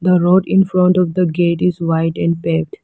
The road infront of the gate is wide and fade.